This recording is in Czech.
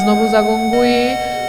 Znovu zagonguji.